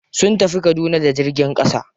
Sun tafi kaduna da jirgin ƙasa.